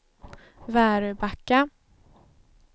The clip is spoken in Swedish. Väröbacka